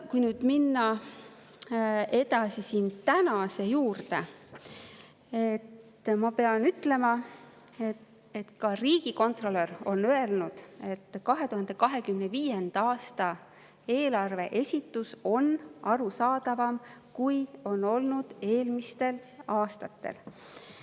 Kui nüüd minna edasi tänase juurde, siis ma pean ütlema, et ka riigikontrolör on öelnud, et 2025. aasta eelarve esitus on arusaadavam, kui on olnud eelmistel aastatel.